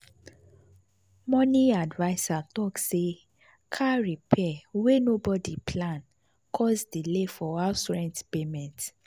money adviser talk say car repair wey nobody plan cause delay for house rent payment.